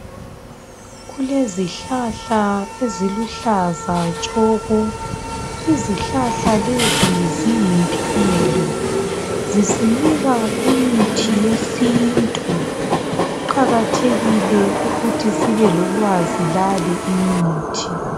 kulezihlahla eziluhlaza tshoko izihlahla lezi ziyimpilo zisinika imithi yesintu kuqakathekile ukuthi sibelolwazi lale imithi